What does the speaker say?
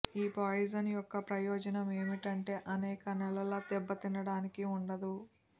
ఈ పాయిజన్ యొక్క ప్రయోజనం ఏమిటంటే అనేక నెలల దెబ్బతినడానికి ఉండదు